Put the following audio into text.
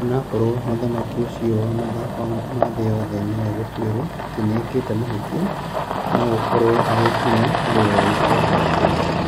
O na akorũo mũthaki ũcio wa mathako ma thĩ yothe nĩ egũtuĩrũo atĩ nĩ ekĩte mahĩtia, no gũkorũo arĩ hinya harĩ we gũikio njera.